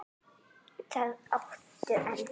Það áttu enn.